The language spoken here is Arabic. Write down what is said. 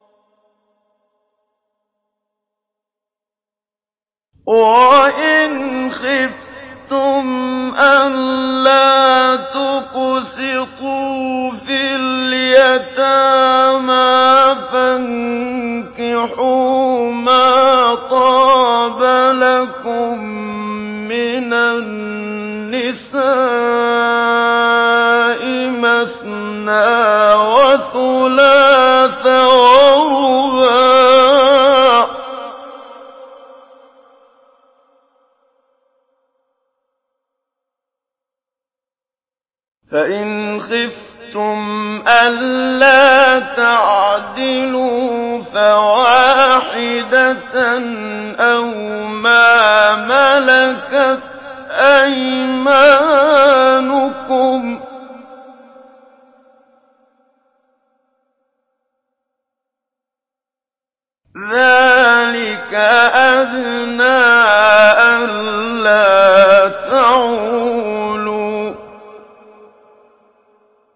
وَإِنْ خِفْتُمْ أَلَّا تُقْسِطُوا فِي الْيَتَامَىٰ فَانكِحُوا مَا طَابَ لَكُم مِّنَ النِّسَاءِ مَثْنَىٰ وَثُلَاثَ وَرُبَاعَ ۖ فَإِنْ خِفْتُمْ أَلَّا تَعْدِلُوا فَوَاحِدَةً أَوْ مَا مَلَكَتْ أَيْمَانُكُمْ ۚ ذَٰلِكَ أَدْنَىٰ أَلَّا تَعُولُوا